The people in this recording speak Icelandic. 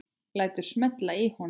Lætur smella í honum.